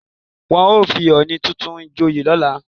Wọ́n ó fi ọọ̀ni tuntun joyè lọ́la